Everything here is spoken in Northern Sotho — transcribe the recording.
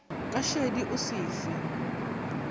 ka šedi o se fe